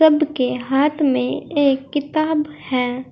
सबके हाथ में एक किताब है।